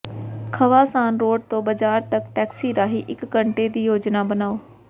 ਖਵਾ San Road ਤੋਂ ਬਾਜ਼ਾਰ ਤਕ ਟੈਕਸੀ ਰਾਹੀਂ ਇਕ ਘੰਟੇ ਦੀ ਯੋਜਨਾ ਬਣਾਉ